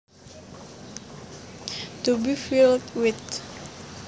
To be filled with